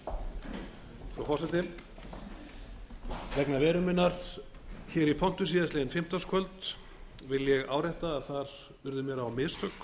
frú forseti vegna veru minnar hér í pontu síðastliðið fimmtudagskvöld vil ég árétta að þar urðu mér á mistök